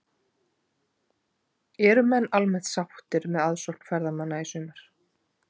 En eru menn almennt sáttir með aðsókn ferðamanna í sumar?